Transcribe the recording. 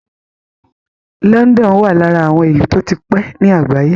London wà lára àwọn ìlú tó ti pé ní àgbáyé.